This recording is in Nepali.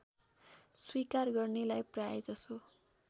स्वीकार गर्नेलाई प्रायजसो